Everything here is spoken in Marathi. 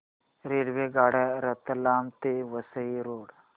रेल्वेगाड्या रतलाम ते वसई रोड